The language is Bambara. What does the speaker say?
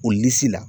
O nimisi la